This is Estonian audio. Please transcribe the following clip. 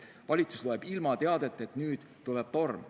Valitsus loeb ilmateadet, et nüüd tuleb torm.